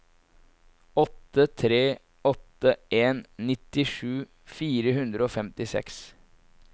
åtte tre åtte en nittisju fire hundre og femtiseks